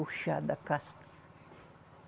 O chá da casca.